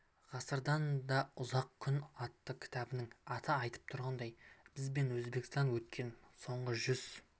ғасырдан да ұзақ күн атты кітабының аты айтып тұрғандай біз де өзбекстанда өткен соңғы жүз